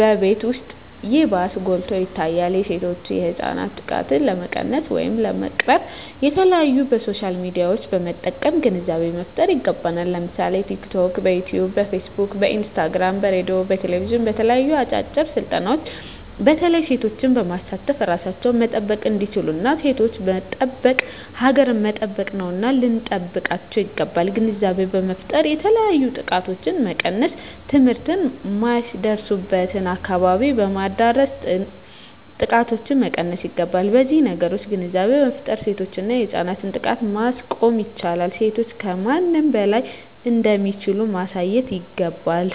በቤት ዉስጥ ይባስ ጎልቶ ይታያል የሴቶችና የህፃናት ጥቃት ለመቀነስ ወይም ለመቅረፍ በተለያዩ በሶሻል ሚድያዎችን በመጠቀም ግንዛቤ መፍጠር ይገባል ለምሳሌ በቲክቶክ በዮትዮብ በፊስ ቡክ በኢንስታግራም በሬድዮ በቴሌብዥን በተለያዩ አጫጭር ስልጠናዎች በተለይ ሴቶችን በማሳተፍ እራሳቸዉን መጠበቅ እንዲችሉና ሴቶችን መጠበቅ ሀገርን መጠበቅ ነዉና ልንጠብቃቸዉ ይገባል ግንዛቤ በመፍጠር የተለያዮ ጥቃቶችን መቀነስ ትምህርት የማይደርሱበትን አካባቢዎች በማዳረስ ጥቃቶችን መቀነስ ይገባል በነዚህ ነገሮች ግንዛቤ በመፍጠር የሴቶችና የህፃናትን ጥቃት ማስቆም ይቻላል ሴቶች ከማንም በላይ እንደሚችሉ ማሳየት ይገባል